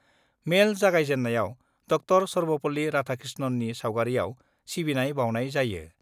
मेल जागायजेन्नायाव ड' सर्वपल्ली राधाकृष्णननि सावगारियाव सिबिनाय बाउनाय जायो।